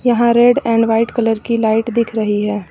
यहां red and white colour की light दिख रही है।